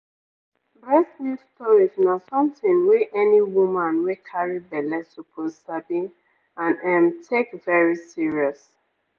breast milk storage na something wey any woman wey carry belle suppose sabi and ehm take very serious.